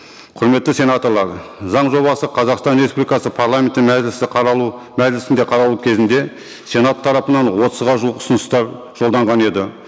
құрметті сенаторлар заң жобасы қазақстан республикасы парламенттің мәжілісі қаралу мәжілісінде қаралу кезінде сенат тарапынан отызға жуық ұсыныстар жолданған еді